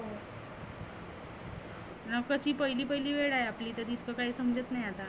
नको ती पहिली पहिली वेळ आहे आपली तरी इतक काही समजत नाही आता.